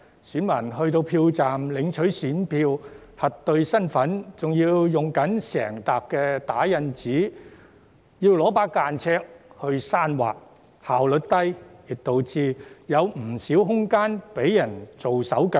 選民到達票站領取選票、核對身份時，仍須使用整疊打印資料和間尺刪劃，效率奇低，亦導致有不少空間可被人"做手腳"。